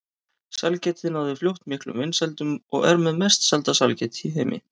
Sælgætið náði fljótt miklum vinsældum og er með mest selda sælgæti í heimi.